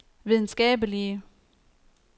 videnskabelige